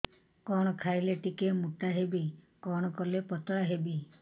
କଣ ଖାଇଲେ ଟିକେ ମୁଟା ହେବି କଣ କଲେ ପତଳା ହେବି